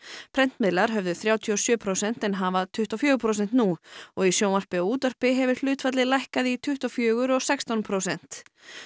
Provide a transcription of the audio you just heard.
prentmiðlar höfðu þrjátíu og sjö prósent en hafa tuttugu og fjögur prósent nú og í sjónvarpi og útvarpi hefur hlutfallið lækkað í tuttugu og fjögur og sextán prósent